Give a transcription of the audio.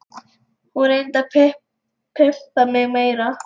Hún reyndi að pumpa mig meira.